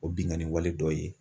O bingani wale dɔ ye.